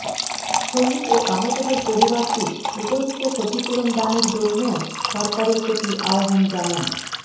শহীদ ও আহতদের পরিবারকে উপযুক্ত ক্ষতিপূরণ দানের জন্যও সরকারের প্রতি আহবান জানান